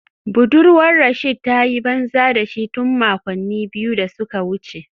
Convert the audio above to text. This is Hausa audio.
Budurwar Rasheed ta yi banza da shi tun makonni biyu da suka wuce